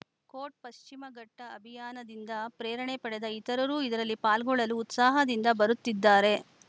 coat ಪಶ್ಚಿಮಘಟ್ಟಅಭಿಯಾನದಿಂದ ಪ್ರೇರಣೆ ಪಡೆದ ಇತರರೂ ಇದರಲ್ಲಿ ಪಾಲ್ಗೊಳ್ಳಲು ಉತ್ಸಾಹದಿಂದ ಬರುತ್ತಿದ್ದಾರೆ